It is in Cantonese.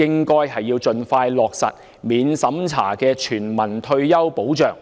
應盡快落實免審查的全民退休保障。